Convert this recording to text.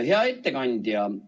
Hea ettekandja!